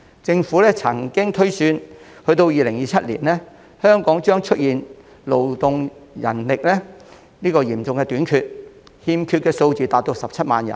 政府曾經推算，到了2027年，香港的勞動人力將出現嚴重短缺，欠缺的數字達17萬人。